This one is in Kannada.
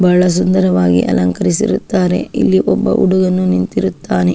ಬಹಳ ಸುಂದರವಾಗಿ ಅಲಂಕರಿಸಿರುತ್ತಾರೆ. ಇಲ್ಲಿ ಒಬ್ಬ ಹುಡುಗನು ನಿಂತಿರುತ್ತಾನೆ.